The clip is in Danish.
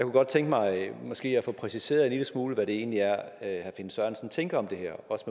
godt tænke mig måske at få præciseret en lille smule hvad det egentlig er herre finn sørensen tænker om det her også